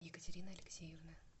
екатерины алексеевны